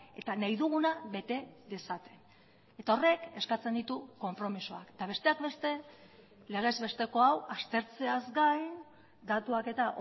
eta nahi duguna bete dezaten eta horrek eskatzen ditu konpromisoak eta besteak beste legezbesteko hau aztertzeaz gain datuak eta